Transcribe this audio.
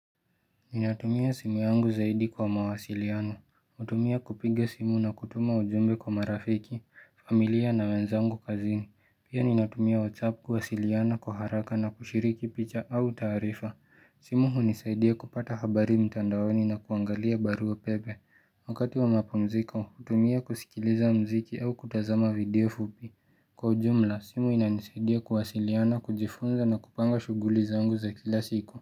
Ninatumia simu yangu zaidi kwa mawasiliano. Utumia kupiga simu na kutuma ujumbe kwa marafiki, familia na wenzangu kazini. Pia ninatumia WhatsApp kuwasiliana kwa haraka na kushiriki picha au taarifa. Simu hunisaidia kupata habari mtandaoni na kuangalia barua pepe. Wakati wa mapu mziko, utumia kusikiliza mziki au kutazama video fupi. Kwa ujumla, simu inanisaidia kuwasiliana, kujifunza na kupanga shuguli zangu za kila siku.